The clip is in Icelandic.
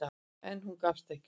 En hún gafst ekki upp.